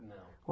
Não.